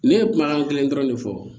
Ne ye kumakan kelen dɔrɔn ne fɔ